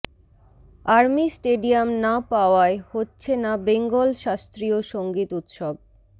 army stadium না পাওয়ায় হচ্ছে না বেঙ্গল শাস্ত্রীয় সংগীত উৎসব